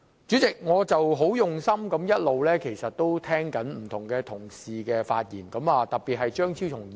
主席，我一直很用心聆聽不同同事的發言，特別是張超雄議員。